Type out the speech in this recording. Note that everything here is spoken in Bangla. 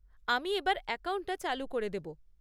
আমি এবার অ্যাকাউন্টটা চালু করে দেব।